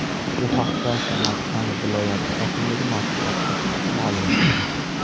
Bu haqda Samarqand viloyati hokimligi matbuot xizmati ma’lum qildi .